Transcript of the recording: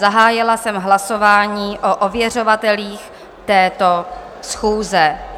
Zahájila jsem hlasování o ověřovatelích této schůze.